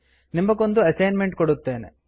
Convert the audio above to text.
ನಿಮಗೊಂದು ಅಸೈನ್ಮೆಂಟ್ ಕೊಡುತ್ತೇನೆ